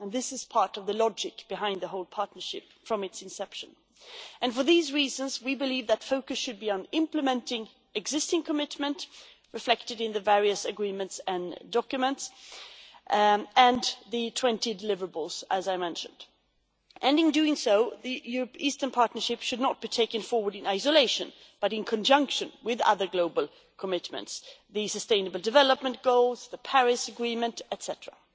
This has been part of the logic behind the whole partnership from its inception and, for these reasons, we believe the focus should be on implementing existing commitments reflected in the various agreements and documents and the 20 deliverables, as I mentioned. In doing that, the Eastern Partnership should be taken forward not in isolation but in conjunction with other global commitments the Sustainable Development Goals, the Paris Agreement, etcetera.